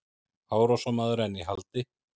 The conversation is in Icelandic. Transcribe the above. Árásarmaður enn í haldi